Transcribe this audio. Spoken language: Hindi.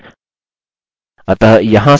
अतः यहाँ से हम अपने पासवर्ड्स की जाँच कर सकते हैं